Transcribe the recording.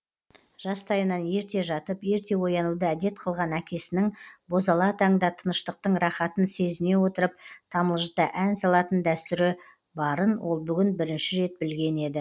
жастайынан ерте жатып ерте оянуды әдет қылған әкесінің бозала таңда тыныштықтың рахатын сезіне отырып тамылжыта ән салатын дәстүрі барын ол бүгін бірінші рет білген еді